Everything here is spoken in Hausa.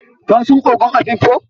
Ka san ogon Afikpo?